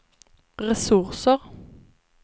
resurser